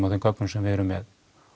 á þeim gögnum sem við erum með